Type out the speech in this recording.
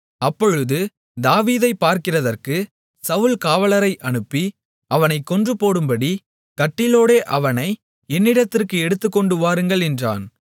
அப்பொழுது தாவீதைப் பார்க்கிறதற்குச் சவுல் காவலரை அனுப்பி அவனைக் கொன்றுபோடும்படி கட்டிலோடே அவனை என்னிடத்திற்கு எடுத்துக்கொண்டு வாருங்கள் என்றான்